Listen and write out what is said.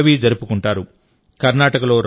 కేరళలో పిరవి జరుపుకుంటారు